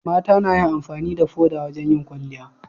mata nayin amfani da foda wajan yin kwalliya